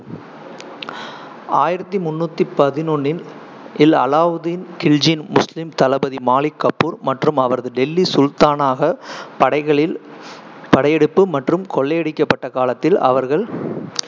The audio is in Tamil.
ஆயிரத்தி முண்ணூத்தி பதிணொன்னில் இல் அலாவுதீன் கில்ஜியின் முஸ்லீம் தளபதி மாலிக் கஃபூர் மற்றும் அவரது டெல்லி சுல்தானாக படைகளின் படையெடுப்பு மற்றும் கொள்ளையடிக்கப்பட்ட காலத்தில் அவர்கள்